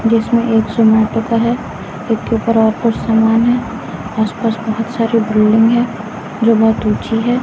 जिसमें एक जोमैटो है इसके ऊपर और कुछ सामान है आसपास बहुत सारे बिल्डिंग है जो बहुत ऊंची है।